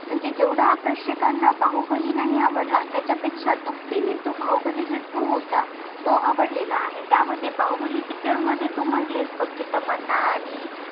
म्हणजे जेवडा प्रेक्षकांना बाहुबली नाही आवडला त्याच्या पेक्षा दुपटीणे तो बाहुबली जो two होता आवडलेला आहे त्या मध्ये बाहुबली picture मध्ये तू म्हटली बग की तमन्ना आणि